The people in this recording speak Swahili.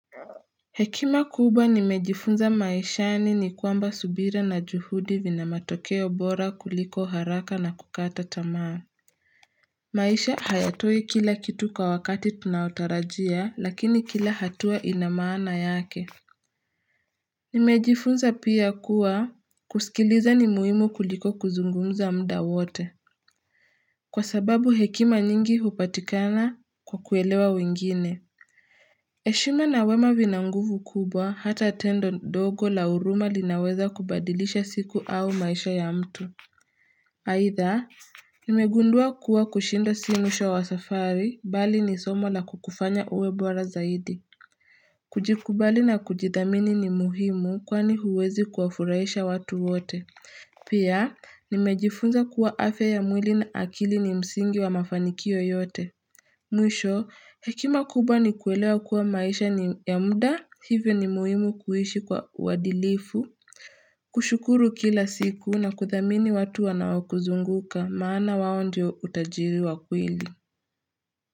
Hekima kubwa nimejifunza maishani ni kwamba subira na juhudi vina matokeo bora kuliko haraka na kukata tamaa. Maisha hayatoi kila kitu kwa wakati tunaotarajia lakini kila hatua inamaana yake. Nimejifunza pia kuwa kusikiliza ni muhimu kuliko kuzungumza mda wote. Kwa sababu hekima nyingi hupatikana kwa kuelewa wengine. Heshima na wema vina nguvu kubwa hata tendo dogo la huruma linaweza kubadilisha siku au maisha ya mtu. Haitha, nimegundua kuwa kushinda si mwisho wa safari, bali ni somo la kukufanya uwe bora zaidi. Kujikubali na kujidhamini ni muhimu kwani huwezi kuwafuraisha watu wote. Pia, nimejifunza kuwa afya ya mwili na akili ni msingi wa mafanikio yote. Mwisho hekima kubwa ni kuelewa kuwa maisha ni ya mda hivyo ni muhimu kuhishi kwa uwadilifu kushukuru kila siku na kuthamini watu anawakuzunguka maana wao ndio utajiri wa kweli.